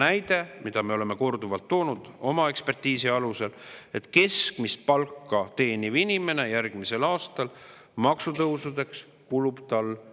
Seesama näide, mida me oleme korduvalt toonud oma ekspertiisi alusel: keskmist palka teenival inimesel kulub järgmisel aastal maksutõusudele ühe kuu palk.